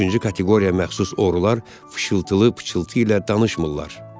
Üçüncü kateqoriya məxsus oğrular fışıltılı pıçıltı ilə danışmırlar.